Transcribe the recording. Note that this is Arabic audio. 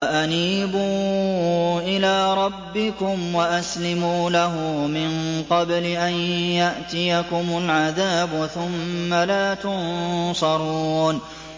وَأَنِيبُوا إِلَىٰ رَبِّكُمْ وَأَسْلِمُوا لَهُ مِن قَبْلِ أَن يَأْتِيَكُمُ الْعَذَابُ ثُمَّ لَا تُنصَرُونَ